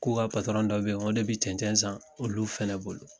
K'u ka patɔrɔn dɔ bɛ yen ko ne bɛ cɛnɛn san olu fana bolo